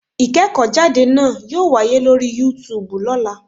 Ìkéèkó jáde náa yóò wáyé lórí Yúutùbù lọ́lá